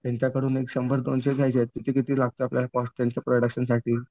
त्यांच्याकडून एक शंभर दोनशे किती लागतोय आपल्याला कॉस्ट त्यांच्या प्रोडक्शनसाठी